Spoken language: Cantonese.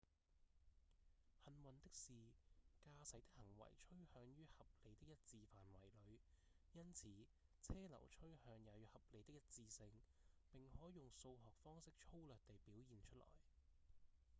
幸運的是駕駛的行為趨向於合理的一致範圍裡因此車流趨向也有合理的一致性並可用數學方式粗略地表現出來